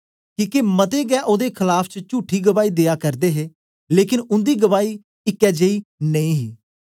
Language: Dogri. किके मते गै ओदे खलाफ च चुठी गवाही देआ करदे हे लेकन उन्दी गवाही इकै जेई नेई ही